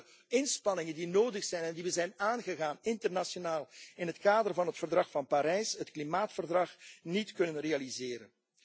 Dan zullen we de inspanningen die nodig zijn en die we zijn aangegaan internationaal in het kader van het Verdrag van Parijs, het klimaatverdrag, niet kunnen realiseren.